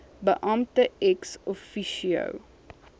beampte ex officio